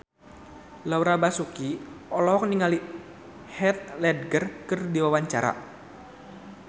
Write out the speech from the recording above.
Laura Basuki olohok ningali Heath Ledger keur diwawancara